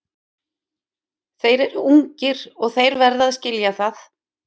Þeir eru ungir og þeir verða að skilja það.